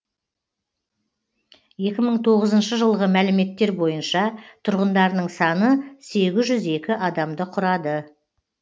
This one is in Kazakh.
екі мың тоғызыншы жылғы мәліметтер бойынша тұрғындарының саны сегіз жүз екі адамды құрады